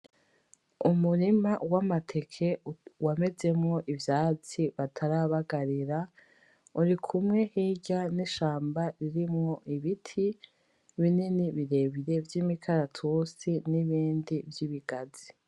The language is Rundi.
Umurima w’amateke wamezemwo ivyatsi batarabagarira. Urikumwe hirya n’ishamba ririmwo ibiti, binini birebire vy’ imikaratusi n’ibindi vy’ibigazi.